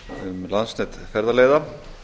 um landsnet ferðaleiða